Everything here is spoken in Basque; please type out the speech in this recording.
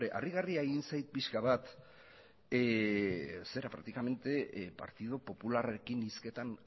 harrigarria egin zait pixka bat praktikamente partido popularrarekin hizketan